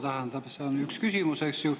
Tähendab, on üks küsimus, eks ju.